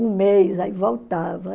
Um mês, aí voltava.